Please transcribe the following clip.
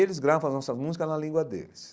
Eles gravam as nossas músicas na língua deles.